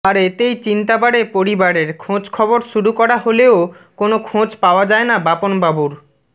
আর এতেই চিন্তা বাড়ে পরিবারের খোঁজখবর শুরু করা হলেও কোনও খোঁজ পাওয়া যায় না বাপনবাবুর